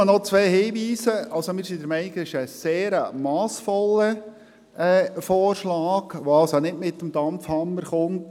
Nur noch zwei Hinweise: Wir sind der Meinung, dass es sich um einen sehr massvollen Vorschlag handelt, der nicht mit dem Dampfhammer kommt.